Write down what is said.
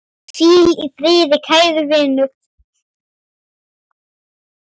Hvíl í friði kæri vinur.